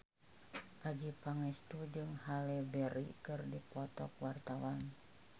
Adjie Pangestu jeung Halle Berry keur dipoto ku wartawan